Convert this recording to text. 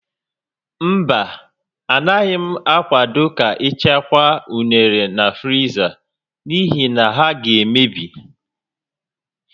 Mba, Anaghị m akwado ka ị chekwaa unere na friza n'ihi na ha ga-emebi